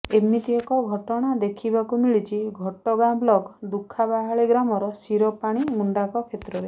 ଏମିତି ଏକ ଘଟଣା ଦେଖିବାକୁ ମିଳିଛି ଘଟଗାଁ ବ୍ଲକ ଦୁଃଖାବାହାଳୀ ଗ୍ରାମର ଶିରପାଣି ମୁଣ୍ଡାଙ୍କ କ୍ଷେତ୍ରରେ